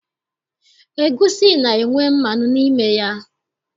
Egwusi na-enwe mmanụ n'ime ya.